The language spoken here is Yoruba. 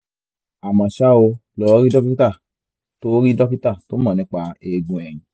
àmọ́ ṣá o lọ rí dókítà tó rí dókítà tó mọ̀ nípa eegun ẹ̀yìn